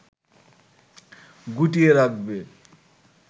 গুটিয়ে রাখবে